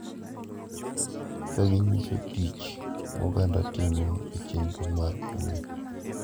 Kaginyiso tich ma oganda timo e chenro mar kuyo.